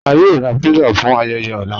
À yóò rà pizza fún ayéyé ọ̀lá.